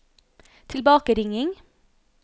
tilbakeringing